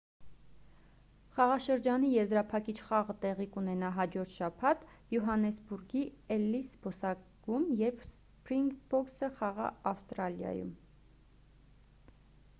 խաղաշրջանի եզրափակիչ խաղը տեղի կունենա հաջորդ շաբաթ յոհանեսբուրգի էլլիս զբոսայգում երբ սփրինգբոքսը խաղա ավստրալիայում